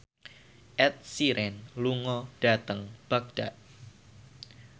Ed Sheeran lunga dhateng Baghdad